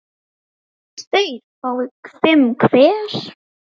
tveir fái fimm hver